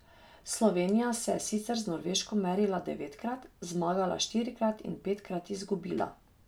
Slovenija se je sicer z Norveško merila devetkrat, zmagala štirikrat in petkrat izgubila.